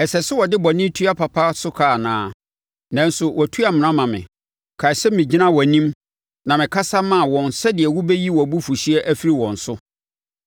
Ɛsɛ sɛ wɔde bɔne tua papa so ka anaa? Nanso wɔatu amena ama me. Kae sɛ megyinaa wʼanim na mekasa maa wɔn sɛdeɛ wobɛyi wʼabufuhyeɛ afiri wɔn so.